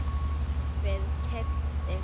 kaupir- keypti